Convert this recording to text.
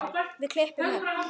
Við klöppum öll.